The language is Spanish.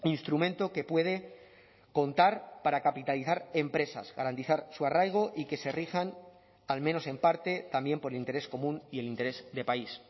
instrumento que puede contar para capitalizar empresas garantizar su arraigo y que se rijan al menos en parte también por el interés común y el interés de país